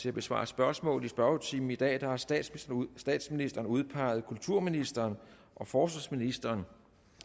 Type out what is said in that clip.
til at besvare spørgsmål i spørgetimen i dag har statsministeren statsministeren udpeget kulturministeren og forsvarsministeren